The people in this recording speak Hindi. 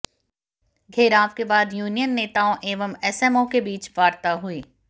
घेराव के बाद यूनियन नेताओं एवं एसएमओ के बीच वार्ता हुई